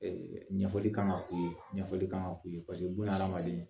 Ɲɛfɔli kan ka k'u ye ɲɛfɔli kan ka k'u ye bunahadamaden